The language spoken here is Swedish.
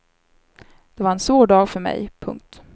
Det var en svår dag för mig. punkt